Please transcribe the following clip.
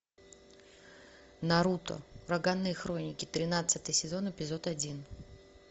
наруто ураганные хроники тринадцатый сезон эпизод один